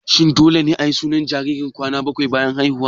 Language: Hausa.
Shin dole ne ayi sunan jariri kwana bakwai bayan haihuwa?